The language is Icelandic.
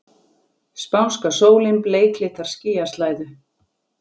Spánska sólin bleiklitar skýjaslæðu.